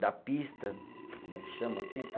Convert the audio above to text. Da pista, como é que chama a pista?